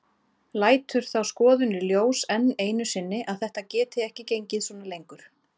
Lætur þá skoðun í ljós enn einu sinni að þetta geti ekki gengið svona lengur.